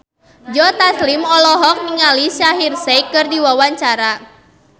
Joe Taslim olohok ningali Shaheer Sheikh keur diwawancara